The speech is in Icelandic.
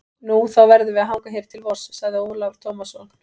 Nú, þá verðum við að hanga hér til vors, sagði Ólafur Tómasson.